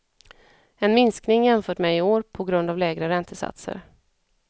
En minskning jämfört med i år på grund lägre räntesatser.